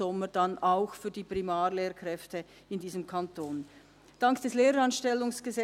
Ich danke Ihnen für das Resultat vorhin bei der Motion zur Gehaltsklasse